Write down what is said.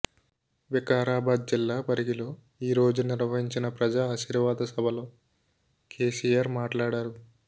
వికారాబాద్ జిల్లా పరిగిలో ఈరోజు నిర్వహించిన ప్రజాఆశీర్వాద సభలో కేసీఆర్ మాట్లాడారు